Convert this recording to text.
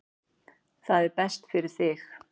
Það er best fyrir þig.